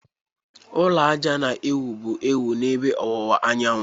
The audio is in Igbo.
Ụlọ ájá na-ewu bụ ewu n'ebe ọwụwa anyanwụ.